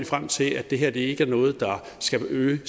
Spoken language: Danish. frem til at det her ikke er noget der skal øge